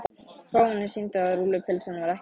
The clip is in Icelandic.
Prófanir sýndu að rúllupylsan var ekki soðin.